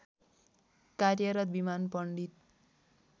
कार्यरत विमान पण्डित